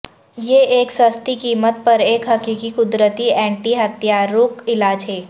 یہ ایک سستی قیمت پر ایک حقیقی قدرتی اینٹی ہتھیارک علاج ہے